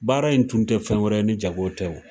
Baara in tun tɛ fɛn wɛrɛ ye ni jago tɛ o.